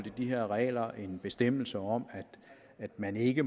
i de her regler er en bestemmelse om at man ikke